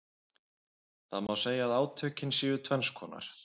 Það má segja að átökin séu tvenns konar.